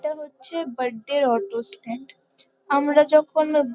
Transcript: এটা হচ্ছে বার্থডে এর অটো স্ট্যান্ড । আমরা যখন --